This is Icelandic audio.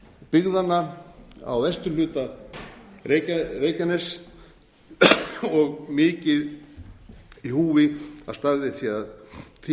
byggðanna á vesturhluta reykjaness og mikið í húfi að staðið sé að því á eðlilegan